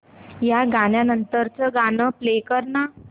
या गाण्या नंतरचं गाणं प्ले कर ना